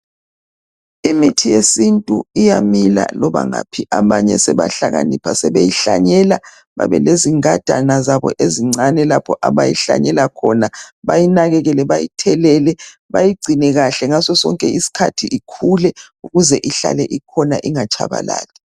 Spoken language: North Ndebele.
Imithi yesintu iyamila loba ngaphi abanye sebahlakanipha sebeyihlanyela babelezingadana zabo ezincane lapho abayihlanyela khona bayinakekele bayithelele bayigcinekahle ngasosonke iskhathi ikhule ukuze ihlale ikhona ingatshabalali